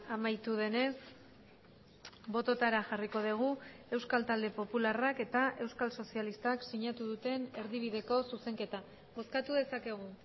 amaitu denez bototara jarriko dugu euskal talde popularrak eta euskal sozialistak sinatu duten erdibideko zuzenketa bozkatu dezakegu